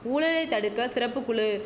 ஊழலை தடுக்க சிறப்பு குழு